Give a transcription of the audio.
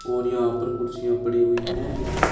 और यहां पर कुर्सियां पड़ी हुई हैं।